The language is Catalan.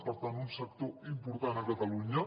per tant un sector important a catalunya